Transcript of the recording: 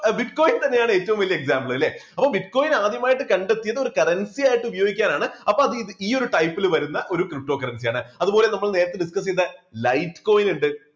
bitcoins തന്നെയാണ് ഏറ്റവും വലിയ example അല്ലേ അപ്പോൾ bitcoin ആദ്യമായിട്ട് കണ്ടെത്തിയത് ഒരു currency ആയിട്ട് ഉപയോഗിക്കാനാണ്. അപ്പൊ അത് ഈയൊരു type ല് വരുന്ന ഒരു ptocurrency ആണ്. അതുപോലെ നമ്മൾ നേരത്തെ discuss ചെയ്ത light coin ഉണ്ട്